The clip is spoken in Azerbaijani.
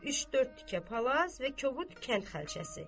Üç-dörd tikə palaz və kobud kənd xalçası.